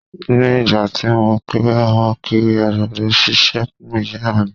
Ni ìgbà tí mo kéré, mo kiri àgbàdo sísè fún Ìyá mi.